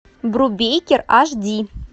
брубейкер аш ди